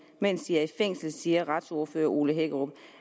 mens de er i fængsel siger retsordfører ole hækkerup